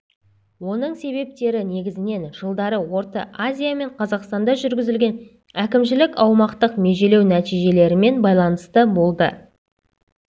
оның себептері негізінен жылдары орта азия мен қазақстанда жүргізілген әкімшілік-аумақтық межелеу нәтижелерімен байланысты болды